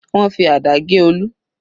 Wọ́n fi àdá gé Olu.